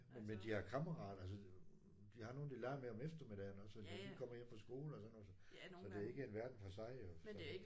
Men de har kammerater altså de har nogle de leger med om eftermiddagen også når de kommer hjem fra skole og sådan noget så det er ikke en verden for sig jo så